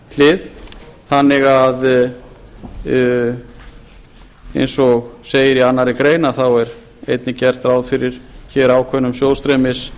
útgjaldahlið þannig eins og segir í annarri grein að þá er einnig gert ráð fyrir hér ákveðnum